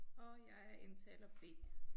Og jeg er indtaler B